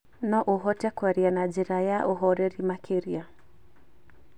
No ũhote kwaria na njĩra ya ũhooreri makĩria.